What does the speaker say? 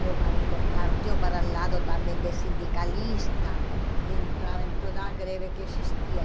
Meu marido partiu para o lado também de sindicalista e entrava em todas as greves que existiam.